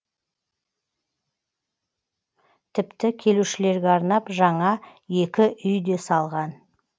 тіпті келушілерге арнап жаңа екі үй де салған